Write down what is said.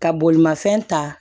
Ka bolimafɛn ta